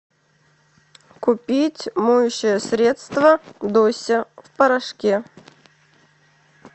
купить моющее средство дося в порошке